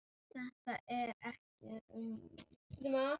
Þetta er ekki raunin.